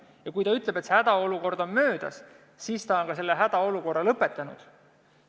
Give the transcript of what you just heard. Ja kui ta ütleb, et hädaolukord on möödas, siis on ta selle hädaolukorra lõpetanud.